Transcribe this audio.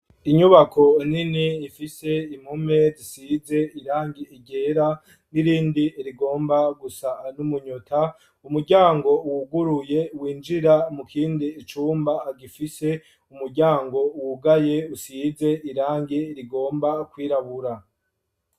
Inyubako nini ifise impome zisize irangi ryera n'irindi rigomba gusa n'umunyota ,umuryango wuguruye winjira mu kindi cumba gifise umuryango wugaye usize irangi rigomba kwirabura.